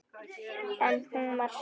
En hún var sátt.